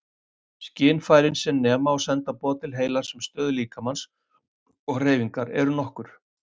Skynfærin sem nema og senda boð til heilans um stöðu líkamans og hreyfingar eru nokkur.